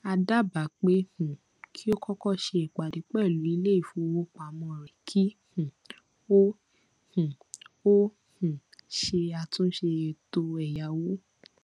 a dábàá pé um kí o kọkọ ṣe ìpadé pẹlú iléìfowópamọ rẹ kí um o um o um ṣe àtúnṣe ètò ẹyáwó